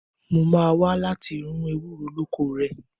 Mo máa wá láti run ewúro lóko rẹ.